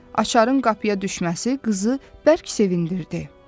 Açarın qapıya düşməsi qızı bərk sevindirdi.